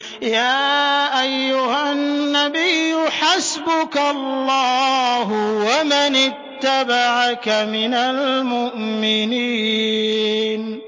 يَا أَيُّهَا النَّبِيُّ حَسْبُكَ اللَّهُ وَمَنِ اتَّبَعَكَ مِنَ الْمُؤْمِنِينَ